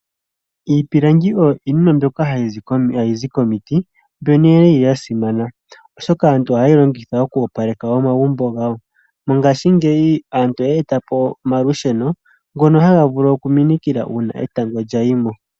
Iipilangi oyo iinima mbyoka ha yi zi komiti mbyono yi li ya simana, oshoka aantu oha ye yi longitha oku opaleka omagumbo gawo. Mongaashingeyi aantu oya eta po omalusheno ngono ha ga vulu okuminikila uuna etango lya yi mo.